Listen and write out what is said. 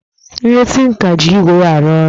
Onye tinka ji igwé arụ ọrụ